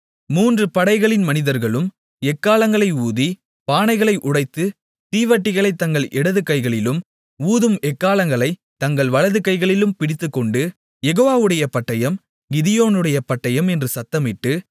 மூன்று படைகளின் மனிதர்களும் எக்காளங்களை ஊதி பானைகளை உடைத்து தீவட்டிகளைத் தங்கள் இடதுகைகளிலும் ஊதும் எக்காளங்களைத் தங்கள் வலது கைகளிலும் பிடித்துக்கொண்டு யெகோவாவுடைய பட்டயம் கிதியோனுடைய பட்டயம் என்று சத்தமிட்டு